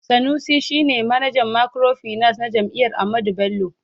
Sanusi shi ne manajan microfinance na jami'ar Ahmadu Bello.